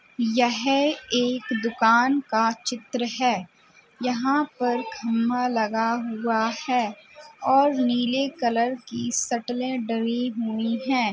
यह एक दुकान का चित्र है यहाँ पर खंभा लगा हुआ है और नीले कलर की सटलें डली हुई हैं।